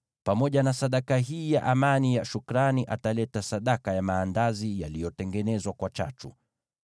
Pamoja na sadaka hii ya amani ya shukrani ataleta sadaka ya maandazi yaliyotengenezwa kwa chachu.